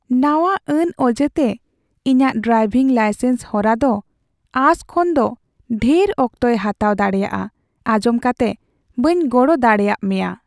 ᱱᱟᱣᱟ ᱟᱹᱱ ᱚᱡᱮᱛᱮ ᱤᱧᱟᱹᱜ ᱰᱨᱟᱭᱵᱷᱤᱝ ᱞᱟᱭᱥᱮᱱᱥ ᱦᱚᱨᱟ ᱫᱚ ᱟᱸᱥ ᱠᱷᱚᱱᱫᱚ ᱰᱷᱮᱨ ᱚᱠᱛᱚᱭ ᱦᱟᱛᱟᱣ ᱫᱟᱲᱮᱭᱟᱜᱼᱟ ᱟᱸᱡᱚᱢ ᱠᱟᱛᱮ ᱵᱟᱹᱧ ᱜᱚᱲᱚ ᱫᱟᱲᱮᱭᱟᱜ ᱢᱮᱭᱟ ᱾